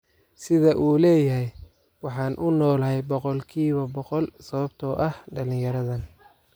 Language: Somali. Sida uu leyahay: Waxaan u noolahay boqolkiiba booqol sababtoo ah dhalinyaradan.